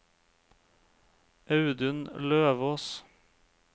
Audun Løvås